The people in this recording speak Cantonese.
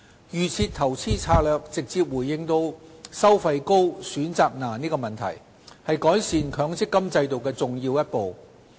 "預設投資策略"直接回應"收費高、選擇難"的問題，是改善強積金制度的重要一步。